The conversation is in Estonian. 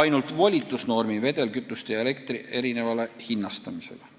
ainult volitusnormi vedelkütuste ja elektri erinevale hinnastamisele.